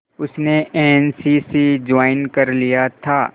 उसने N C C join कर लिया था